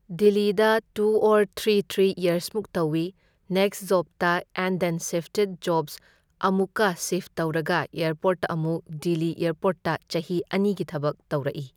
ꯗꯤꯜꯂꯤꯗ two or three three ꯌꯔꯁꯃꯨꯛ ꯇꯧꯢ ꯅꯦꯛꯁ ꯖꯣꯞꯇ ꯑꯦꯟ ꯗꯦꯟ ꯁꯤꯐꯇꯦꯗ ꯖꯣꯕꯁ ꯑꯃꯨꯛꯀ ꯁꯤꯐ ꯇꯧꯔꯒ ꯑꯦꯔꯄꯣꯔꯠꯇ ꯑꯃꯨꯛ ꯗꯤꯜꯂꯤ ꯑꯦꯔꯄꯣꯔꯠꯇ ꯆꯍꯤ ꯑꯅꯤꯒꯤ ꯊꯕꯛ ꯇꯧꯔꯛꯢ꯫